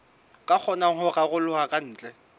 ka kgonang ho raroloha kantle